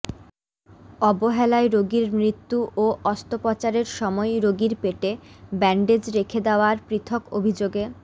অবহেলায় রোগীর মৃত্যু ও অস্ত্রোপচারের সময় রোগীর পেটে ব্যান্ডেজ রেখে দেওয়ার পৃথক অভিযোগে